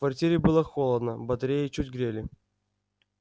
в квартире было холодно батареи чуть грели